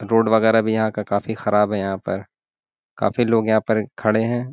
Road वगेरा भी यहाँ का काफी खराब है यहाँ पर काफी लोग यहाँ पर खड़े हैं।